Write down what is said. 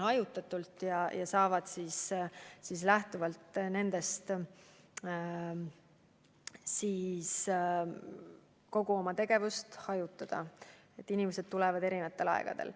Asutused saavad lähtuvalt sellest kogu oma tegevust hajutada, kuna inimesed tulevad eri aegadel.